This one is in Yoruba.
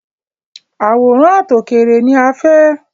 Àwòrán àtòkèèrè ni a fẹ́.